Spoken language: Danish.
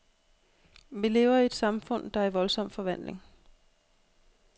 Vi lever i et samfund, der er i voldsom forvandling.